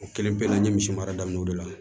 O kelen bɛɛ la n ye misi mara daminɛ o de la